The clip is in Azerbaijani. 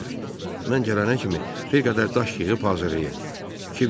Mən gələnə kimi bir qədər daş yığıb hazırlayın.